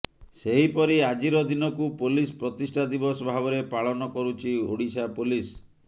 ସେହି ପରି ଆଜିର ଦିନକୁ ପୋଲିସ ପ୍ରତିଷ୍ଠା ଦିବସ ଭାବରେ ପାଳନ କରୁଛି ଓଡିଶା ପୋଲିସ